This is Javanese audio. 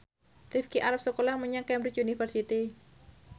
Rifqi arep sekolah menyang Cambridge University